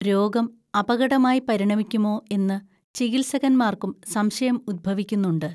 രോഗം അപകടമായി പരിണമിക്കുമോ എന്നു ചികിത്സകന്മാർക്കും സംശയം ഉദ്ഭവിക്കുന്നുണ്ട്